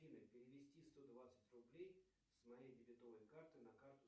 афина перевести сто двадцать рублей с моей дебетовой карты на карту